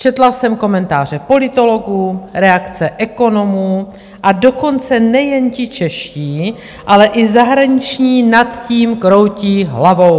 Četla jsem komentáře politologů, reakce ekonomů, a dokonce nejen ti čeští, ale i zahraniční nad tím kroutí hlavou.